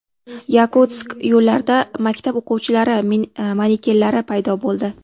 Yakutsk yo‘llarida maktab o‘quvchilari manekenlari paydo bo‘ldi.